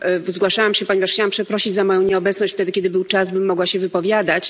Zgłaszałam się, ponieważ chciałam przeprosić za moją nieobecność, wtedy kiedy był czas bym mogła się wypowiadać.